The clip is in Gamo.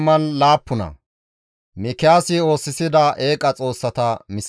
Efreemen bolla gezzen Mikiyaasa geetettiza issaadey dees.